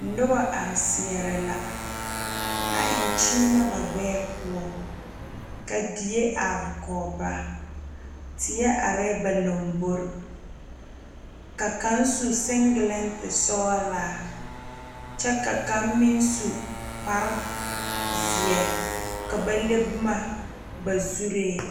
Nuba arẽ seɛre la a en kyeenɛ ba gbeɛɛ puo ka deɛ arẽ kuo ba teɛ arẽ ba lɔmbori ka kang su singileeti sɔgla kye ka kang meng su kpare zeɛ ka ba le buma ba zurin.